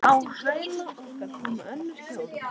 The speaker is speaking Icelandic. Á hæla okkar komu önnur hjón.